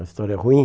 A história ruim?